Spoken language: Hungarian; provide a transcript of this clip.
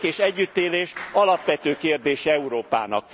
A békés együttélés alapvető kérdése Európának.